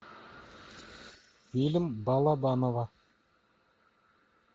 фильм балабанова